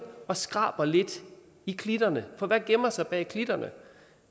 og skraber lidt i klitterne for hvad gemmer sig bag klitterne